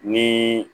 Ni